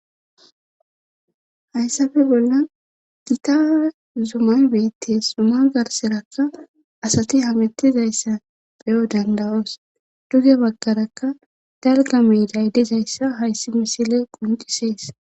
Hayssafe bollan gita zumay beettes suma garserakka asati hametizayssa peyo dandawos duge baggarakka dalga mi daydizayssa hayssi misile quncisees